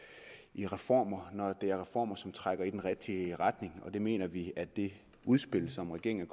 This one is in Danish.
i reformer når det er reformer som trækker i den rigtige retning og det mener vi at det udspil som regeringen